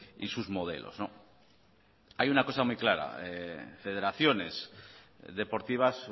y sus modelos hay una cosa muy clara federaciones deportivas